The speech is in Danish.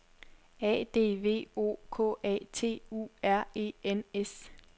A D V O K A T U R E N S